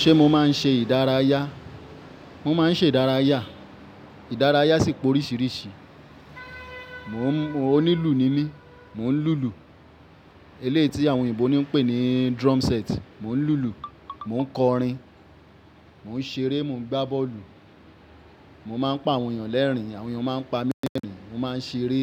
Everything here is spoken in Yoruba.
Ṣé mo máa ń ṣe ìdárayá? Mo máa ń ṣe ìdárayá. Ìdárayá sì pè oríṣiríṣi. Mo nílù ní mi, mò ń lùlù. Elé tí àwọn òyìnbó ní ń pè ní drum set. Mò ń lùlù, mò ń kọrin, mò ń ṣeré, mò ń gbá bọ́ọ̀lù, mo máa ń pa àwọn ènìyàn lẹ́rìn-ín, àwọn ènìyàn máa ń pa mí ní ẹ̀rín, mo máa ń ṣeré.